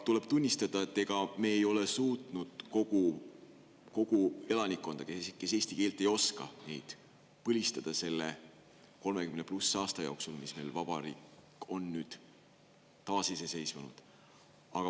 Tuleb tunnistada, et ega me ei ole suutnud kogu elanikkonda, kes eesti keelt ei oska, põlistada selle 30 pluss aasta jooksul, kui meie vabariik on taasiseseisvunud olnud.